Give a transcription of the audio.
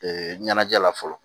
ɲɛnajɛ la fɔlɔ